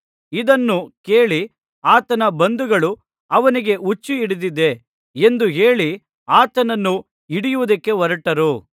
ಇದನ್ನು ಕೇಳಿ ಆತನ ಬಂಧುಗಳು ಅವನಿಗೆ ಹುಚ್ಚುಹಿಡಿದಿದೆ ಎಂದು ಹೇಳಿ ಆತನನ್ನು ಹಿಡಿಯುವುದಕ್ಕೆ ಹೊರಟರು